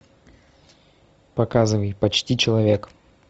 показывай почти человек